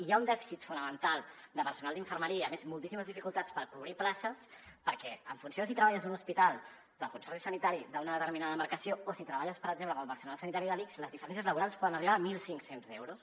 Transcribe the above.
hi ha un dèficit fonamental de personal d’infermeria i a més moltíssimes dificultats per cobrir places perquè en funció de si treballes en un hospital del consorci sanitari d’una determinada demarcació o si treballes per exemple com a personal sanitari de l’ics les diferències laborals poden arribar a mil cinc cents euros